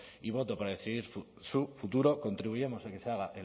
y voto para decidir su futuro contribuyamos a que se haga